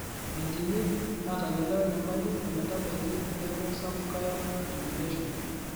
meedimi aatayiolo enyamali ometabaiki neeku sapuk iron accumulation.